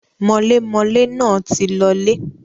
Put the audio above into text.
mọlémọlé náà ti lọọlè.